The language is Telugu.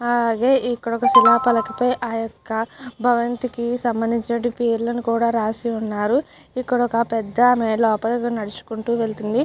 అలాగే ఇక్కడొక శిలాఫలకపు ఆ యొక్క భవంతి కి సంభందించిన పేర్లను కూడా రాసి ఉన్నారు ఇక్కడ ఒక పెద్ద ఆమె లోపలికి నడుచుకుంటూ వెళ్తుంది.